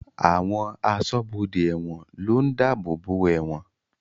Àwọn aṣọ́bodè ẹ̀wọ̀n ló ń dáàbòbò ẹ̀wọ̀n